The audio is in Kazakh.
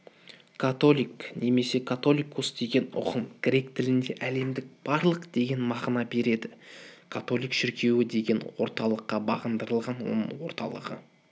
католик немесе католикос деген ұғым грек тілінде әлемдік барлық деген мағына береді католик шіркеуі бір орталыққа бағындырылған оның орталығы